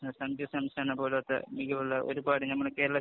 ഒരു പാട് നമ്മുടെ കേരളത്തിന്